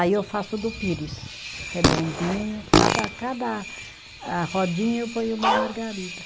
Aí eu faço do pires, redondinho, cada cada ah, rodinha eu ponho uma margarida.